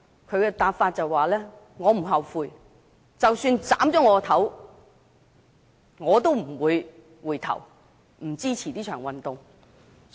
他的答案是"我不後悔，即使把我的頭顱砍下來，我都不會回頭，堅決支持這場運動"。